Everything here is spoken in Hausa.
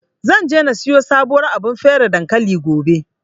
Zan je na siyo sabuwar abar feraye dankali, gobe.